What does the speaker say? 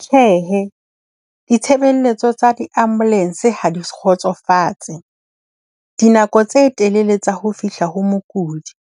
Tjhehe, ditshebeletso tsa di-ambulance ha di kgotsofatse. Dinako tse telele tsa ho fihla ho mokudi,